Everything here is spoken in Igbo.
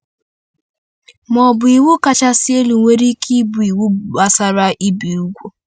Ma ọ bụ iwu kachasị elu nwere ike ịbụ iwu gbasara ibi úgwù?